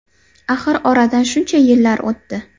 Axir oradan shuncha yillar o‘tdi.